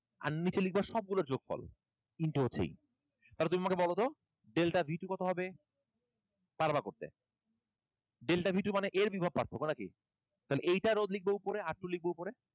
আর নিচে লিখবা সব গুলোর যোগফল into three তাহলে তুমি আমাকে বলো তো delta b two কতো হবে? পারবা করতে। Delta b two মানে A এর বিভব পার্থক্য নাকি? তাহলে এইটার রোধ লিখবা উপরা, R two রোধ লিখবা উপরে